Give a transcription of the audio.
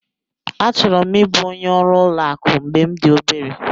Achọrọ m ịbụ onye ọrụ ụlọ akụ mgbe m dị obere.